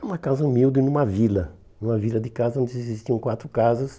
Era uma casa humilde numa vila, numa vila de casa onde existiam quatro casas.